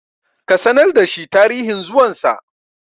ka sanar da shi tarihin zuwansa!